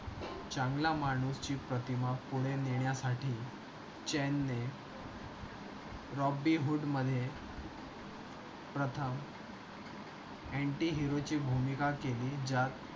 चांगले मानुस ची प्रतिमा पुढे नेण्यासाठी चैन ने Robin Hood मध्ये प्रथम antihero ची भूमिका केली ज्यात